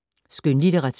Skønlitteratur